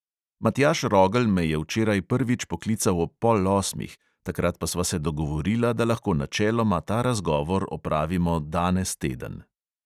Matjaž rogelj me je včeraj prvič poklical ob pol osmih, takrat pa sva se dogovorila, da lahko načeloma ta razgovor opravimo danes teden.